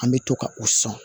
An bɛ to ka u sɔn